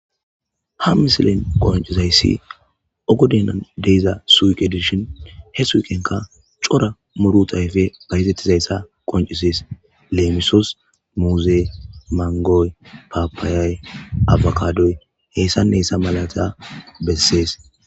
Ha misilen qoncizayssi ogoden de'iza suuqe dishin he suuqenka cora muuruta ayfey bayzetizayssa qoncises; leemisos muuzey, mangoy, paapayay, abakadoy hessane hessa malata besses.